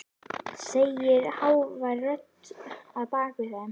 segir hávær rödd að baki þeim.